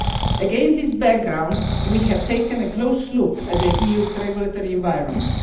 Against this background, we have taken a close look at the EU's regulatory environment.